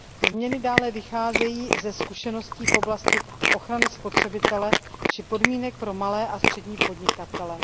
Změny dále vycházejí ze zkušeností v oblasti ochrany spotřebitele či podmínek pro malé a střední podnikatele.